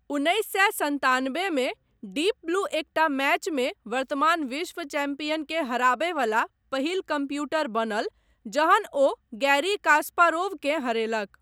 उन्नैस सए सन्तानबे मे डीप ब्लू एकटा मैचमे वर्तमान विश्व चैंपियनकेँ हराबय वला पहिल कंप्यूटर बनल जहन ओ गैरी कास्पारोवकेँ हरेलक।